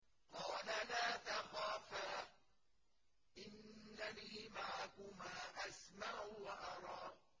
قَالَ لَا تَخَافَا ۖ إِنَّنِي مَعَكُمَا أَسْمَعُ وَأَرَىٰ